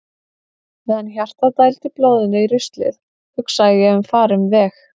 Meðan hjartað dældi blóðinu í ruslið hugsaði ég um farinn veg.